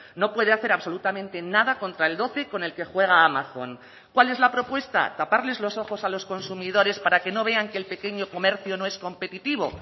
no puede hacer absolutamente nada contra el doce con el que juega amazon cuál es la propuesta taparles los ojos a los consumidores para que no vean que el pequeño comercio no es competitivo